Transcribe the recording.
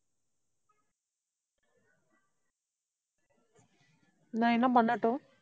நான் என்ன பண்ணட்டும்?